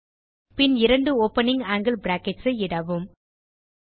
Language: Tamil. பின் இரண்டு ஓப்பனிங் ஆங்கில் பிராக்கெட்ஸ் ஐ இடவும்